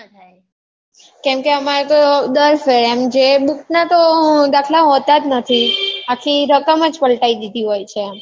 કેમ કે એમાં તો દસ હોય જે book ના તો દાખલા હોતાં જ નથી આખી રકમ જ પલટાઈ દીધી હોય છે